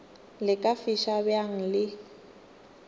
le ka fiša bjang le